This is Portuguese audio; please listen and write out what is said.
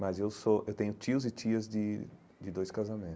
Mas eu sou eu tenho tios e tias de de dois casamentos.